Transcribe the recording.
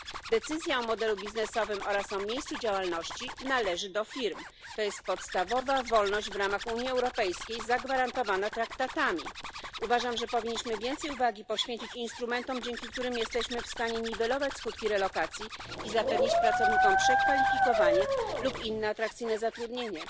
Decyzja o modelu biznesowym oraz o miejscu działalności należy do firm. Jest to podstawowa, zagwarantowana traktatami wolność w ramach Unii Europejskiej. Uważam, że powinniśmy więcej uwagi poświęcić instrumentom, dzięki którym jesteśmy w stanie niwelować skutki relokacji i zapewnić pracownikom przekwalifikowanie lub inne atrakcyjne zatrudnienie.